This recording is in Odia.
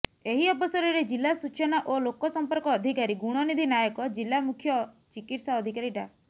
ଏହି ଅବସରରେ ଜିଲ୍ଲା ସୂଚନା ଓ ଲୋକସଂପର୍କ ଅଧିକାରୀ ଗୁଣନିଧି ନାୟକ ଜିଲ୍ଲା ମୁଖ୍ୟ ଚିକିତ୍ସା ଅଧିକାରୀ ଡା